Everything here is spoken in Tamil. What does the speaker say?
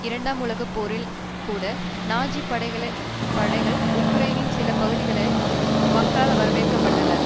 இரண்டாம் உலக போரில் கூட நாஜி படைகள் உக்ரெய்னின் சில பகுதிகளில் மக்களால் வரவேற்கப்பட்டனர்